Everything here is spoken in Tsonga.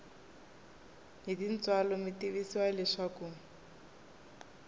hi tintswalo mi tivisiwa leswaku